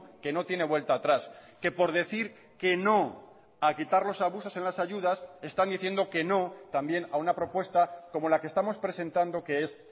que no tiene vuelta atrás que por decir que no a quitar los abusos en las ayudas están diciendo que no también a una propuesta como la que estamos presentando que es